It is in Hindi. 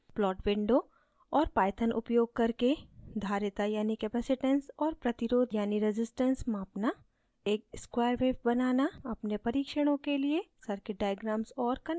plot window और python उपयोग करके धारिता यानि capacitance और प्रतिरोध यानि resistance मापना